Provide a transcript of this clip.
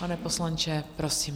Pane poslanče, prosím.